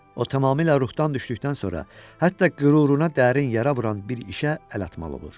O tamamilə ruhdan düşdükdən sonra hətta qüruruna dərin yara vuran bir işə əl atmalı olur.